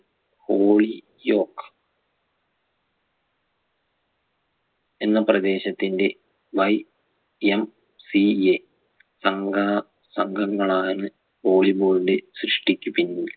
ഓയ് യോക് എന്ന പ്രദേശത്തിന്ടെ YMCA സംഘ സംഘങ്ങളാണ് volley ball ന്റെ സൃഷ്ടിക്കു പിന്നിൽ